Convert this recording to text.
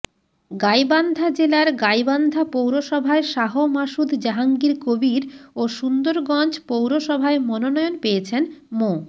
গাইবান্ধা জেলার গাইবান্ধা পৌরসভায় শাহ মাসুদ জাহাঙ্গীর কবীর ও সুন্দরগঞ্জ পৌরসভায় মনোনয়ন পেয়েছেন মো